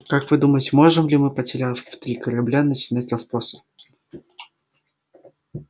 как вы думаете можем ли мы потеряв три корабля начинать расспросы